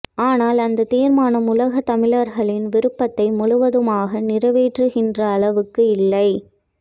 ஆனால் அந்தத் தீர்மானம் உலகத் தமிழர்களின் விருப்பத்தை முழுவதுமாக நிறைவேற்றுகின்ற அளவுக்கு இல்லை